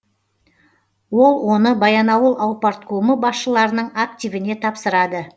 ол оны баянауыл аупарткомы басшыларының активіне тапсырады